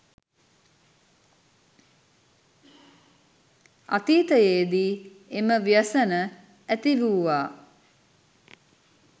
අතීතයේදී එම ව්‍යසන ඇතිවූවා